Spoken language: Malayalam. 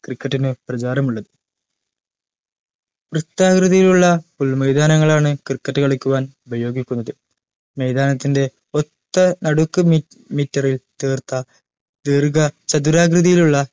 ഫ് cricket നു പ്രചാരമുള്ളത് വൃത്താകൃതിയുള്ള പുൽ മൈതാനങ്ങളാണ് cricket കളിക്കുവാൻ ഉപയോഗിക്കുന്നത് മൈതാനത്തിന്റെ ഒത്ത നടുക്ക് മിറ്റ് meter ൽ തീർത്ത ദീർഘ ചതുരാകൃതിയിലുള്ള